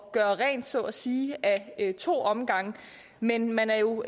at gøre rent så at sige ad to omgange men man er jo